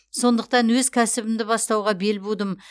сондықтан өз кәсібімді бастауға бел будым